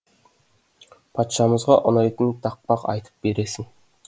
патшамызға ұнайтын тақпақ айтып бересің